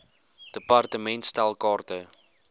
department stel kaarte